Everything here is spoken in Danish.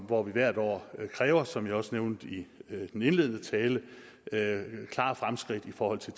hvor vi hvert år kræver som jeg også nævnte i min indledende tale klare fremskridt i forhold til